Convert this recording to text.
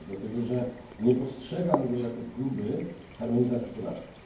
Dlatego, że nie postrzegam go jako próby harmonizacji podatków.